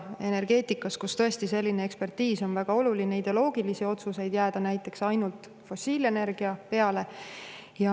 Energeetikas, kus tõesti selline ekspertiis on väga oluline, ei ideoloogilisi otsuseid jääda näiteks ainult fossiilenergia peale.